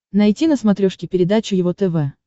найти на смотрешке передачу его тв